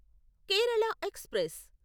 Kerala express